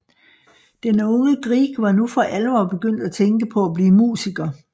Den unge Grieg var nu for alvor begyndt at tænke på at blive musiker